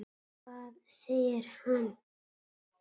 Hvað segir hann?